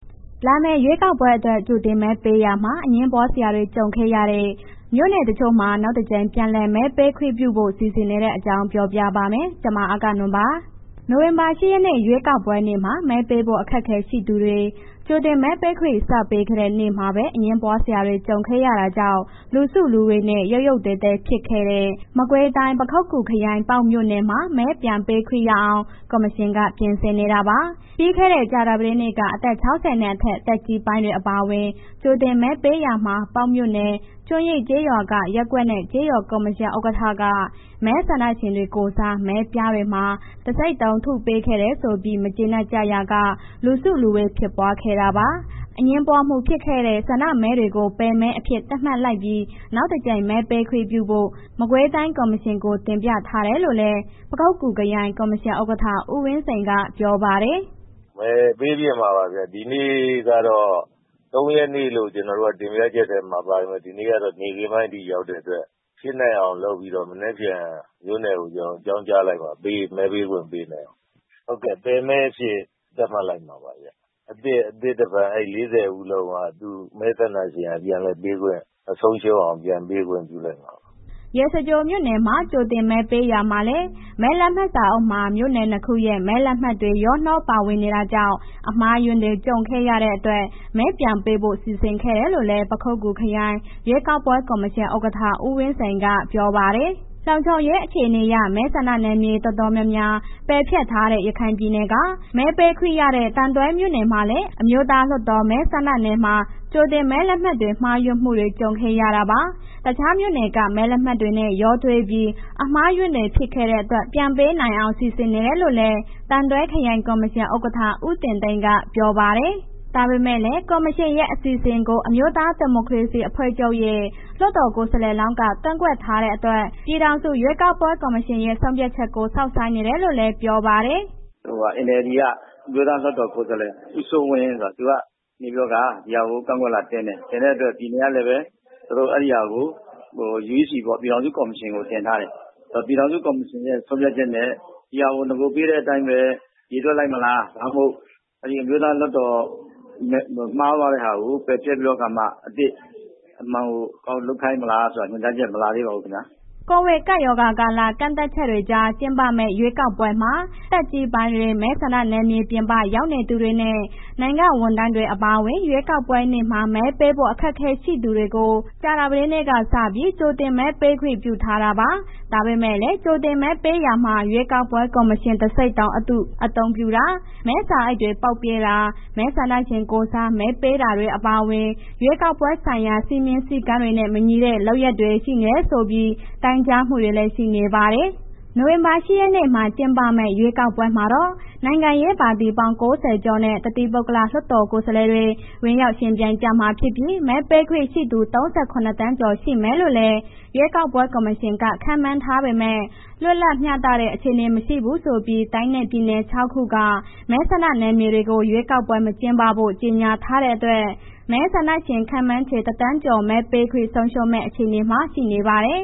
လာမယ့်ရွေးကောက်ပွဲအတွက် ကြိုတင်မဲပေးရာမှာ အငြင်းပွားစရာ ကြုံခဲ့ရတဲ့ မြို့နယ်တချို့မှာ နောက်တကြိမ် ပြန်လည်မဲပေးခွင့်ပြုဖို့ စီစဉ်နေတဲ့အကြောင်းကို ဗွီအိုအေမြန်မာပိုင်းသတင်းထောက် မအဂ္ဂနွန်က ပြောပြပါမယ်။ နိုဝင်ဘာလ ၈ ရက်နေ့ ရွေးကောက်ပွဲနေ့မှာ မဲပေးဖို့ အခက်အခဲရှိသူတွေ ကြိုတင်မဲပေးခွင့် စပေးခဲ့တဲ့ နေ့မှာပဲ အငြင်းပွားစရာတွေ ကြုံခဲ့ရတာကြောင့် လူစုလူဝေးနဲ့ ရုတ်ရုတ်သဲသဲ ဖြစ်ခဲ့တဲ့ မကွေးတိုင်း၊ ပခုက္ကူခရိုင်၊ ပေါက်မြို့နယ်မှာ မဲပြန်ပေးခွင့်ရအောင် ကော်မရှင်က ပြင်ဆင်နေတာပါ။ ပြီးခဲ့တဲ့ ကြာသပတေးနေ့က အသက် ၆၀ နဲ့အထက် သက်ကြီးပိုင်းတွေ အပါအဝင် ကြိုတင်မဲပေးရာမှာ ပေါက်မြို့နယ် ကျွန်းရင်းကျေးရွာက ရပ်ကွက်နဲ့ ကျေးရွာကော်မရှင်ဥက္ကဋ္ဌက မဲဆန္ဒရှင်တွေကိုယ်စား မဲပြားတွေမှာ တံဆိပ်တုံးထုပေးခဲ့တယ်ဆိုပြီး မကျေနပ်ကြရာက လူစုလူဝေးဖြစ်ပွားခဲ့တာပါ။ အငြင်းပွားမှု ဖြစ်ခဲ့တဲ့ ဆန္ဒမဲတွေကို ပယ်မဲအဖြစ် သတ်မှတ်လိုက်ပြီး နောက်တကြိမ် မဲပေးခွင့်ပြုဖို့ မကွေးတိုင်း ကော်မရှင်ကို တင်ပြထားတယ်လို့လည်း ပခုက္ကူခရိုင် ကော်မရှင်ဥက္ကဋ္ဌ ဦးဝင်းစိန်က ပြောပါတယ်။ “မဲပေးဖြစ်မှာပါဗျ၊ ဒီနေ့ကတော့ ၃ ရက်နေ့လို့ ကျနော်တို့က တင်ပြချက်ထဲမှာပါတယ်။ ဒီနေ့ကတော့ နေ့ခင်းပိုင်းထိရောက်တဲ့အတွက် ဖြစ်နိုင်အောင် လုပ်ပြီးတော့ မနက်ဖြန် မြို့နယ်ကို ကျနော်တို့ အကြောင်းကြားလိုက်မယ် ပြီးရင် မဲပေးခွင့်ပေးလိုက်မယ်။ ဟုတ်ကဲ့.. ပယ်မဲအဖြစ်သတ်မှတ်လိုက်မှာပါဗျ။ အသစ်တဖန် အဲ့ ၄၀ ဦးလုံးက မဲဆန္ဒရှင်က ပြန်လည်ပေးခွင့်မဆုံးရှုံးအောင် ပြန်ပေးခွင့်ပြုလိုက်မှာပါ။” ရေစကြိုမြို့နယ်မှာ ကြိုတင်မဲပေးရာမှာလည်း မဲလက်မှတ်စာအုပ်မှာ မြို့နယ်နှစ်ခုရဲ့ မဲလက်မှတ်တွေ ရောနှောပါဝင်နေတာကြောင့် အမှားအယွင်းတွေ ကြုံခဲ့ရတဲ့အတွက် မဲပြန်ပေးဖို့ စီစဉ်ခဲ့တယ်လို့လည်း ပခုက္ကူခရိုင် ရွေးကောက်ပွဲ ကော်မရှင်ဥက္ကဋ္ဌ ဦးဝင်းစိန်က ပြောပါတယ်။ လုံခြုံရေးအခြေအနေအရ မဲဆန္ဒနယ်မြေ တော်တော်များများ ပယ်ဖျက်ထားတဲ့ ရခိုင်ပြည်နယ်က မဲပေးခွင့်ရတဲ့ သံတွဲမြို့နယ်မှာလည်း အမျိုးသားလွှတ်တော် မဲဆန္ဒနယ်မှာ ကြိုတင်မဲလက်မှတ်တွေ မှားယွင်းမှုတွေ ကြုံခဲ့ရတာပါ။ တခြားမြို့နယ်က မဲလက်မှတ်တွေနဲ့ ရောထွေးပြီး အမှားအယွင်းတွေ ဖြစ်ခဲ့တဲ့အတွက် ပြန်မဲပေးနိုင်အောင် စီစဉ်နေတယ်လို့လည်း သံတွဲခရိုင် ကော်မရှင်ဥက္ကဋ္ဌ ဦးတင်သိန်းက ပြောပါတယ်။ ဒါပေမဲ့လည်း ကော်မရှင်ရဲ့ အစီအစဉ်ကို အမျိုးသားဒီမိုကရေစီအဖွဲ့ချုပ်ရဲ့ လွှတ်တော်ကိုယ်စားလှယ်လောင်းက ကန့်ကွက်ထားတဲ့အတွက် ပြည်ထောင်စု ရွေးကောက်ပွဲ ကော်မရှင်ရဲ့ ဆုံးဖြတ်ချက်ကို စောင့်ဆိုင်းနေတယ်လို့လည်း ပြောပါတယ်။ “NLD က အမျိုးသားလွှတ်တော်ကိုယ်စားလှယ် ဦးစိုးဝင်းဆိုတာ သူကနေပြီးတော့ ဒီဟာကို ကန့်ကွက်လွှာတင်တယ်။ တင်တဲ့အတွက် ပြည်နယ်ကလည်ပဲ အဲ့ဒီဟာကို uec ပေါ့ ပြည်ထောင်စုကော်မရှင်ကို တင်ထားတယ်။ ပြည်ထောင်စု ကော်မရှင်ရဲ့ ဆုံးဖြတ်ချက်နဲ့ ဒီဟာကို နဂိုပေးတဲ့အတိုင်းပဲ ရေတွက်လိုက်မလာ ဒါမှမဟုတ် အရင်အမျိုးသားလွှတ်တော်မှားသွားတဲ့ဟာကို ပယ်ဖျက်ပြီးတော့အခါမှ အသစ်လုပ်ခိုင်းမလားဆိုတာ ညွှန်ကြားချက်မလာသေးဘူးခင်ဗျာ။” ကိုဗစ်ကပ်ရောဂါကာလ ကန့်သတ်ချက်တွေကြား ကျင်းပမယ့် ရွေးကောက်ပွဲမှာ သက်ကြီးပိုင်းတွေ၊ မဲဆန္ဒနယ်မြေပြင်ပ ရောက်နေသူတွေနဲ့ နိုင်ငံဝန်ထမ်းတွေ အပါအဝင် ရွေးကောက်ပွဲနေ့မှာ မဲပေးဖို့ အခက်အခဲရှိသူတွေကို ကြာသပတေးနေ့ကစပြီး ကြိုတင်မဲပေးခွင့် ပြုထားတာပါ။ ဒါပေမဲ့လည်း ကြိုတင်မဲပေးရာမှာ ရွေးကောက်ပွဲ ကော်မရှင် တံဆိပ်တုံးအတု အသုံးပြုတာ၊ မဲစာအိတ်တွေ ပေါက်ပြဲတာ၊ မဲဆန္ဒရှင်ကိုယ်စား မဲပေးတာတွေ အပါအဝင် ရွေးကောက်ပွဲဆိုင်ရာ စည်းမျဉ်းစည်းကမ်းတွေနဲ့ မညီတဲ့ လုပ်ရပ်တွေ ရှိနေတယ်ဆိုပြီး တိုင်ကြားမှုတွေလည်း ရှိနေပါတယ်။ နိုဝင်ဘာလ ၈ ရက်နေ့မှာ ကျင်းပမယ့် ရွေးကောက်ပွဲမှာတော့ နိုင်ငံရေးပါတီပေါင်း ၉၀ ကျော်နဲ့ တသီးပုဂ္ဂလလွှတ်တော်ကိုယ်စားလှယ်တွေ ဝင်ရောက်ယှဉ်ပြိုင်ကြမှာဖြစ်ပြီး မဲပေးခွင့်ရှိသူ ၃၇ သန်းကျော် ရှိမယ်လို့လည်း ရွေးကောက်ပွဲ ကော်မရှင်က ခန့်မှန်းထားပေမဲ့ လွတ်လပ်မျှတတဲ့ အခြေအနေမရှိဘူးဆိုပြီး တိုင်းနဲ့ပြည်နယ် ၆ ခုက မဲဆန္ဒနယ်မြေတွေကို ရွေးကောက်ပွဲ မကျင်းပဖို့ ကြေညာထားတဲ့အတွက် မဲဆန္ဒရှင် ခန့်မှန်းခြေ ၁,၀၀၀,၀၀၀ ကျော် မဲပေးခွင့်ဆုံးရှုံးမယ့် အခြေအနေမှာ ရှိနေပါတယ်